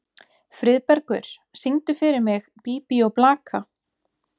Friðbergur, syngdu fyrir mig „Bí bí og blaka“.